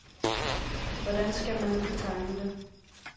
Hvordan skal man nu betegne det?